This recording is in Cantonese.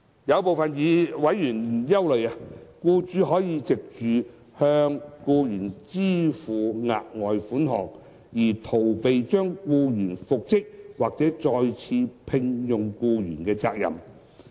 有部分委員憂慮，僱主可藉着向僱員支付額外款項，而逃避將僱員復職或再次聘用僱員的責任。